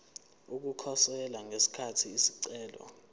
ukukhosela ngesikhathi isicelo